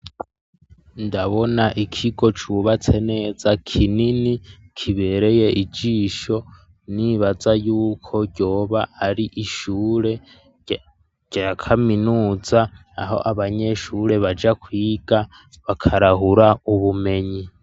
Ndabona ikigo cubatse neza kinini kibereye ijisho nibaza yuko ryoba ari ishure ryakaminuza aho abanyeshure baja kwiga bakarahura ubumenyi.